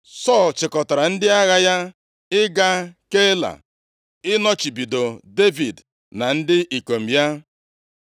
Sọl chịkọtara ndị agha ya ịga Keila ịnọchibido Devid na ndị ikom ya.